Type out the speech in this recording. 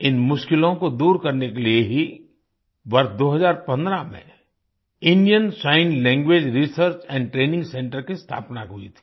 इन मुश्किलों को दूर करने के लिए ही वर्ष 2015 में Indian sign language research and training Centerकी स्थापना हुई थी